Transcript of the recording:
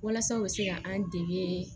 Walasa u bɛ se ka an dege